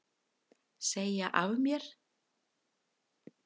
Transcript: Segja af mér